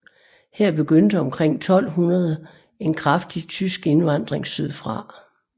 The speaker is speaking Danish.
Her begyndte omkring 1200 en kraftig tysk indvandring sydfra